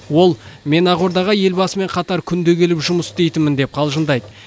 ол мен ақордаға елбасымен қатар күнде келіп жұмыс істейтінмін деп қалжыңдайды